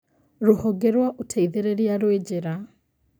Rũhonge rwa ũteithĩrĩria rwĩ njĩra